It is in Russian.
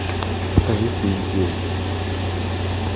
покажи фильм пил